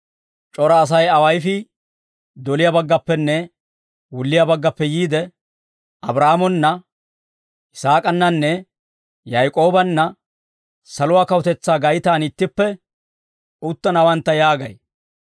C'ora Asay awayifii doliyaa baggappenne wulliyaa baggappe yiide, Abraahaamona, Yisaak'ananne Yak'oobanna saluwaa kawutetsaa gaytaan ittippe uttanawantta yaagay.